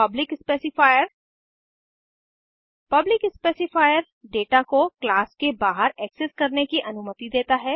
public specifier public specifier data को class के बाहर एक्सेस करने की अनुमति देता है